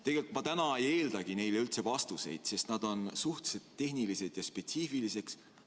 Tegelikult ma täna ei eeldagi neile vastuseid, sest nad on suhteliselt tehnilised ja spetsiifilised.